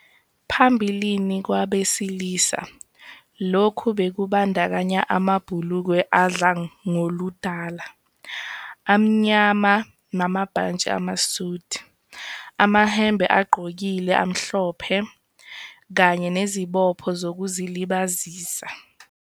Phambilini kwabesilisa, lokhu bekubandakanya amabhulukwe adla ngoludala, amnyama namabhantshi amasudi, amahembe agqokile amhlophe, kanye nezibopho zokuzilibazisa.